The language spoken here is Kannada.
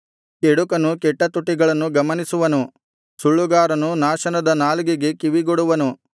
ಕೆಡುಕನು ಕೆಟ್ಟ ತುಟಿಗಳನ್ನು ಗಮನಿಸುವನು ಸುಳ್ಳುಗಾರನು ನಾಶನದ ನಾಲಿಗೆಗೆ ಕಿವಿಗೊಡುವನು